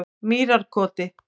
Mýrarkoti